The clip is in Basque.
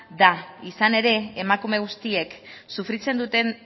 da izan ere emakume guztiek sufritzen duten